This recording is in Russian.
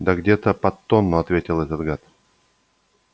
да где-то под тонну ответил этот гад